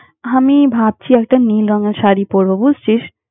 আমি ভাবছি একটা নীল রঙের শাড়ী পড়ব, বুঝছিস?